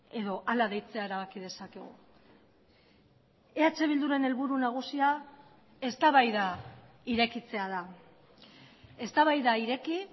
edo ala deitzea erabaki dezakegu eh bilduren helburu nagusia eztabaida irekitzea da eztabaida ireki